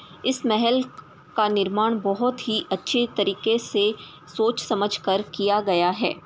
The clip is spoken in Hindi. इस महल का निर्माण का बहुत ही अच्छे तरीके से सोच समझ कर किया गया है।